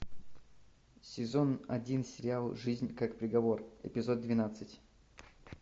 сезон один сериал жизнь как приговор эпизод двенадцать